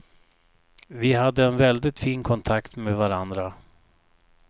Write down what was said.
Vi hade en väldigt fin kontakt med varandra.